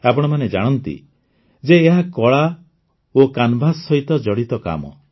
ଆପଣମାନେ ଜାଣନ୍ତି ଯେ ଏହା କଳା ଓ କ୍ୟାନ୍ଭାସ୍ ସହ ଜଡ଼ିତ କାମ